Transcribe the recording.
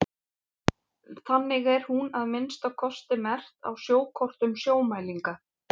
þannig er hún að minnsta kosti merkt á sjókortum sjómælinga